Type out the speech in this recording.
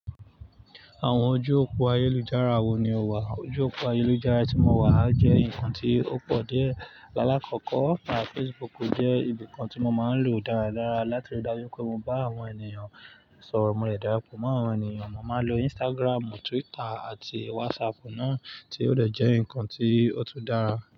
Àwọn ojú òpó ayélujára wo ni o wà? Ojú òpó ayélujára tí mo wà jẹ́ nǹkan tí ó pọ̀ die. Láàkọ́kọ́, WhatsApp àti Facebook jẹ́ ibìkan tí mo máa ń lò dáradára láti ríi dájú pé mo bá àwọn ènìyàn sọ̀rọ̀. Mo de dárapọ̀ mọ́ àwọn ènìyàn. Mo máa ń lo Instagram, Twitter àti WhatsApp náà tí ó jẹ́ ǹkan tí ó tún dára.